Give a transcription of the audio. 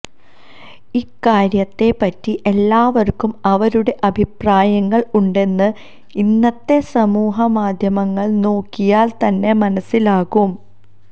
ഇക്കാര്യത്തെ പറ്റി എല്ലാവർക്കും അവരുടെ അഭിപ്രായങ്ങൾ ഉണ്ടെന്ന് ഇന്നത്തെ സമൂഹ മാധ്യമങ്ങൾ നോക്കിയാൽ തന്നെ മനസ്സിലാകും